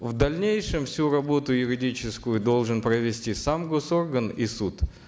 в дальнейшем всю работу юридическую должен провести сам госорган и суд